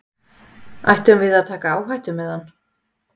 Ættum við að taka áhættu með hann?